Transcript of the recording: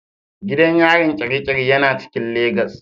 Gidan yarin Kirikiri yana cikin legas.